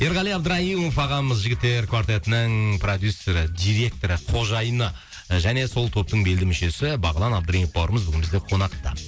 ерғали абдраимов ағамыз жігіттер квартетінің продюссері директоры қожайыны және сол топтың белді мүшесі бағлан абдраимов бауырымыз бүгін бізде қонақта